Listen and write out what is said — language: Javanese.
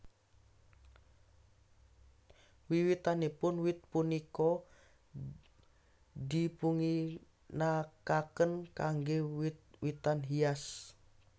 Wiwitanipun wit punika dipunginakaken kangge wit witan hias